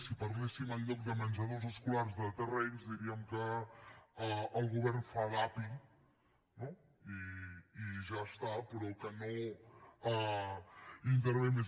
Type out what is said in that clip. si parléssim en lloc de menjadors escolars de terrenys diríem que el govern fa d’api no i ja està però no hi intervé més